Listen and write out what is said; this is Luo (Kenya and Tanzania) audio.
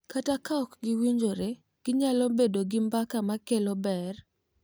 Kata ka ok giwinjore, ginyalo bedo gi mbaka ma kelo ber .